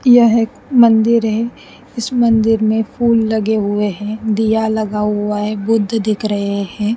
यह एक मंदिर है इस मंदिर में फूल लगे हुए हैं दिया लगा हुआ है बुद्ध दिख रहे है।